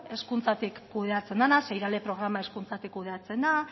hezkuntzatik kudeatzen dena zeren irale programa hezkuntzatik kudeatzen da